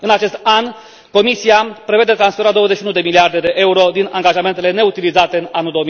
În acest an, Comisia prevede transferul a 21 de miliarde de euro din angajamentele neutilizate în anul